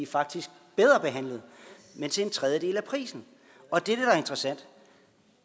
faktisk bedre behandlet men til en tredjedel af prisen og det er